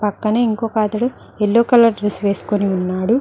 కని ఇంకొక అతడు ఎల్లో కలర్ డ్రెస్ వేసుకుని ఉన్నాడు.